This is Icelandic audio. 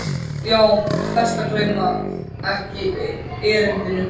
Já, best að gleyma ekki erindinu.